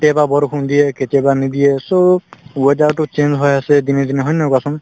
কেতিয়াবা বৰষুণ দিয়ে কেতিয়াবা নিদিয়ে so weather তো change হৈ আছে দিনে দিনে হয় নে নহয় কোৱাচোন